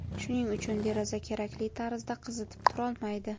Shuning uchun deraza kerakli tarzda qizitib turolmaydi.